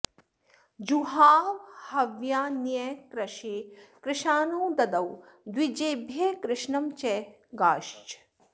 जुहाव हव्यान्यकृशे कृशानौ ददौ द्विजेभ्यः कृशनं च गाश्च